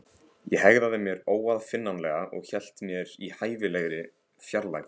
Ég hegðaði mér óaðfinnanlega- og hélt mér í hæfilegri fjarlægð.